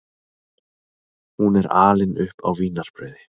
Hún er alin upp á vínarbrauði.